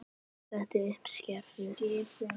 Hann setti upp skeifu.